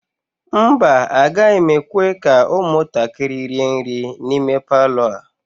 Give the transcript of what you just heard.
mba, agaghị m ekwe ka ụmụntakịrị rie nri n'ime Palọ a